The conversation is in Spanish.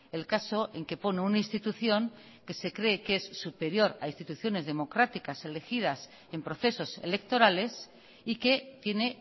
el caso en que pone una institución que se cree que es superior a instituciones democráticas elegidas en procesos electorales y que tiene